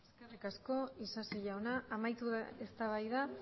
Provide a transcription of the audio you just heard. eskerrik asko isasi jauna amaitu da eztabaida